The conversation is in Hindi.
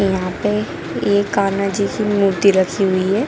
यहाँ पे एक कान्हा जी की मूर्ति रखी हुई है।